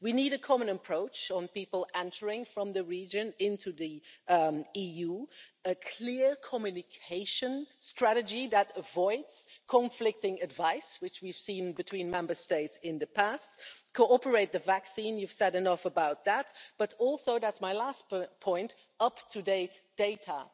We need a common approach on people entering from the region into the EU, a clear communication strategy that avoids conflicting advice, which we've seen between Member States in the past, cooperate the vaccine you've said enough about that but also, that's my last point, up-to-date data.